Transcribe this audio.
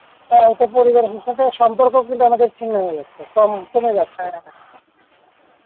হয়তো পরিবারের সাথে সম্পর্ক কিন্তু আমাদের ছিন্ন হয়েযাচ্ছে তেমন কমে যাচ্ছে